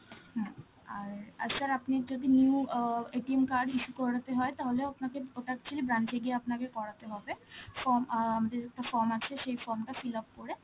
হম, আর~ আর sir আপনি যদি new অ card issue করাতে হয়, তাহলেও আপনাকে, ওটা actually branch এ গিয়ে আপনাকে করাতে হবে, form অ্যাঁ~ যে একটা form আছে, সেই form টা fill up করে,